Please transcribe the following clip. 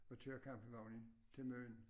At køre campingvognen til Møn